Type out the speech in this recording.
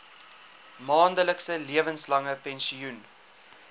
maandelikse lewenslange pensioen